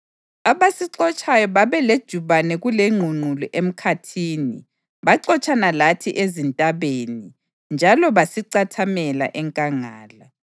Abasixotshayo babelejubane kulengqungqulu emkhathini; baxotshana lathi ezintabeni njalo basicathamela enkangala.